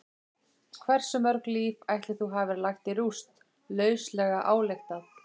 Hversu mörg líf ætli þú hafir lagt í rúst, lauslega ályktað?